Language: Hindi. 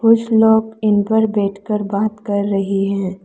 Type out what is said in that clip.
कुछ लोग इन पर बैठकर बात कर रही हैं।